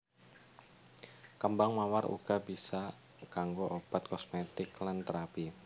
Kembang mawar uga bisa kanggo obat kosmetik lan terapi